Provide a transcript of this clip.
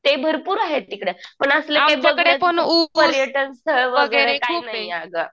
ते भरपूर आहे तिकडे पण असलं काही पर्यटन स्थळ वगैरे काही नाही अगं.